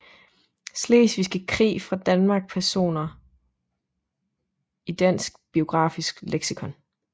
Slesvigske Krig fra Danmark Personer i Dansk Biografisk Leksikon